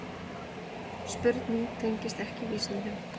Spurning tengist ekki vísindum.